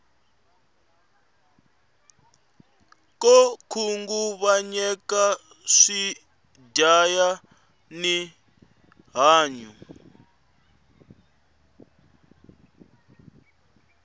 ko khunguvanyeka swi dyaya ri hanyu